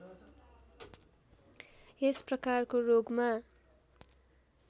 यस प्रकारको रोगमा